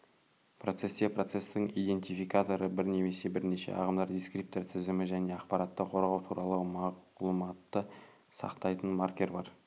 процесте процестің идентификаторы бір немесе бірнеше ағымдар дискриптор тізімі және ақпаратты қорғау туралы мағлұматты сақтайтын маркер бар